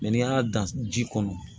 n'i y'a dan ji kɔnɔ